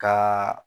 Ka